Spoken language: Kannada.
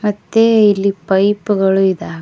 ಮತ್ತೆ ಇಲ್ಲಿ ಪೈಪ್ ಗಳು ಇದ್ದಾವೆ.